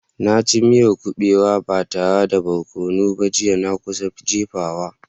Na ci miyar kubewa ba tare da barkono ba jiya, na kusa jefawa.